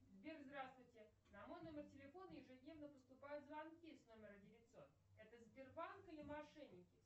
сбер здравствуйте на мой номер телефона ежедневно поступают звонки с номера девятьсот это сбербанк или мошенники